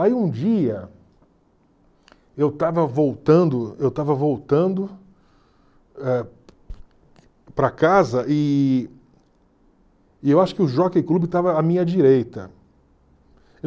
Aí um dia eu estava voltando eu estava voltando eh para casa e e eu acho que o Jockey Club estava à minha direita.